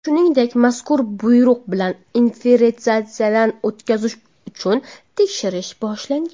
Shuningdek, mazkur buyruq bilan inventarizatsiyadan o‘tkazish uchun tekshirish boshlangan.